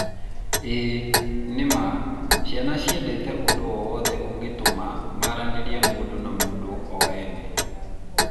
ĩĩ, nĩ ma.ciana ciendete ũndũ o wothe ũngĩtũma maranĩrie mũndũ na mũndũ o ene